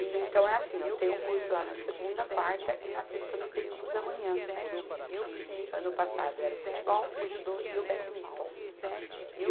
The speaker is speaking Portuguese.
E então é assim, ó, tem um curso lá na segunda, quarta e na sexta no período da manhã, que ano passado era o futebol, o judô e o badminton.